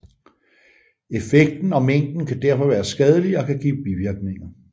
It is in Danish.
Effekten og mængden kan derfor være skadelig og kan give bivirkninger